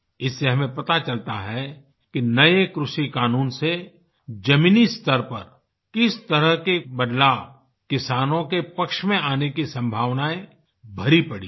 इससे हमें पता चलता है कि नये कृषिक़ानून से जमीनी स्तर पर किस तरह के बदलाव किसानों के पक्ष में आने की संभावनायें भरी पड़ी हैं